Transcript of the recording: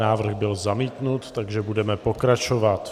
Návrh byl zamítnut, takže budeme pokračovat.